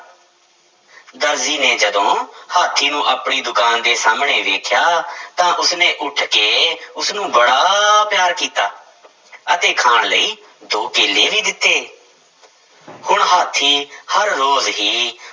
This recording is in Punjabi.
ਦਰਜੀ ਨੇ ਜਦੋਂ ਹਾਥੀ ਨੂੰ ਆਪਣੀ ਦੁਕਾਨ ਦੇ ਸਾਹਮਣੇ ਵੇਖਿਆ ਤਾਂ ਉਸਨੇ ਉੱਠ ਕੇ ਉਸਨੂੰ ਬੜਾ ਪਿਆਰ ਕੀਤਾ ਅਤੇ ਖਾਣ ਲਈ ਦੋ ਕੇਲੇ ਵੀ ਦਿੱਤੇ ਹੁਣ ਹਾਥੀ ਹਰ ਰੋਜ਼ ਹੀ